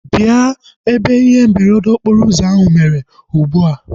Bịa ebe ihe mberede okporo ụzọ ahu mere ugbua!